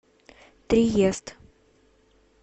триест